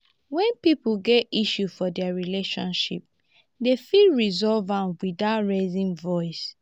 when pipo get issue for their relationship dem fit resolve am without raising voice